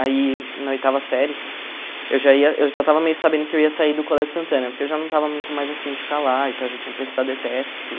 Aí, na oitava série, eu já ia eu já estava meio sabendo que eu ia sair do Colégio Santana, porque eu já não estava muito mais afim de ficar lá, e tal, já tinha prestado ETESP e tudo.